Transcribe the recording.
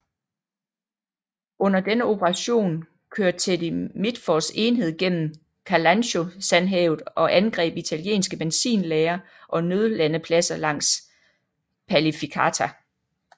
Under denne operation kør Teddy Mitfords enhed gennem Kalansho Sandhavet og angreb italienske benzinlagre og nødlandepladser langs Palificata